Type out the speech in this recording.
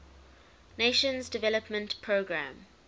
nations development programme